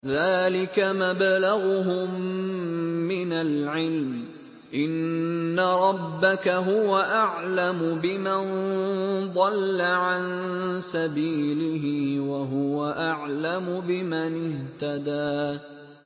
ذَٰلِكَ مَبْلَغُهُم مِّنَ الْعِلْمِ ۚ إِنَّ رَبَّكَ هُوَ أَعْلَمُ بِمَن ضَلَّ عَن سَبِيلِهِ وَهُوَ أَعْلَمُ بِمَنِ اهْتَدَىٰ